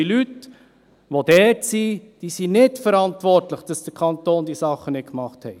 Die Leute, die dort sind, sind nicht verantwortlich dafür, dass der Kanton diese Sachen nicht gemacht hat.